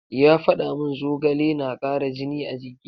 Ya faɗa mun zogale na kara jini a jiki.